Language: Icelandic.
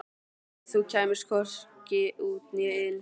Þú kemst hvorki út né inn.